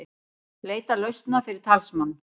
Leita lausna fyrir talsmann